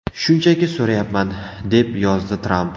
Shunchaki so‘rayapman!”, deb yozdi Tramp.